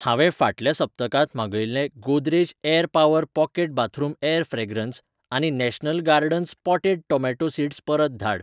हांवें फाटल्या सप्तकांत मागयिल्लें Godrej air power pocket bathroom air fragrance आनी national gardens potted tomato seeds परत धाड.